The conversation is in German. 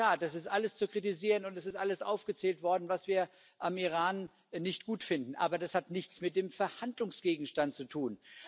In der Tat, das ist alles zu kritisieren, und es ist alles aufgezählt worden, was wir am Iran nicht gut finden. Aber das hat nichts mit dem Verhandlungsgegenstand zu tun.